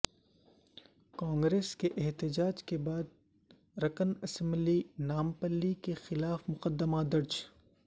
کانگریس کے احتجاج کے بعد رکن اسمبلی نامپلی کیخلاف مقدمہ درج